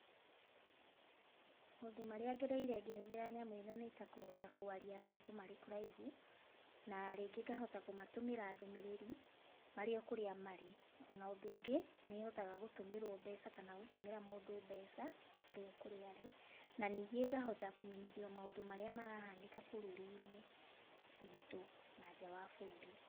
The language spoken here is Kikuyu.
Maũndũ marĩa ngereire ngĩhũthĩra nyamũ ĩno nĩ ta kũhota kwaria na andũ marĩ kũraihu, na rĩngĩ ngahota kũmatũmĩra ndũmĩrĩri marĩ okũrĩ marĩ. Ona ũndũ ũngĩ, nĩ hotaga gũtũmĩrwo mbeca kana gũtũmĩra mũndũ mbeca arĩ okũrĩa arĩ, na ningĩ ngahota kũmenyithio maũndũ marĩa marahanĩka bũrũri-inĩ witũ na nja wa bũrũri.